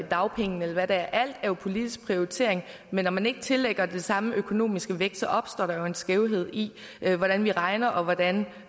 dagpengene eller hvad det er alt er jo politisk prioritering men når man ikke tillægger det samme økonomiske vægt så opstår der jo en skævhed i hvordan vi regner og hvordan